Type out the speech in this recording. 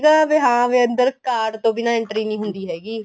ਸੀਗਾ ਵੀ ਹਾਂ ਵੀ ਅੰਦਰ card ਤੋ ਬਿਨਾਂ entry ਨਹੀਂ ਹੁੰਦੀ ਹੈਗੀ